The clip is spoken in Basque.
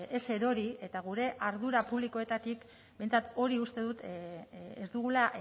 ez erori eta gure ardura publikoetatik behintzat hori uste dut ez dugula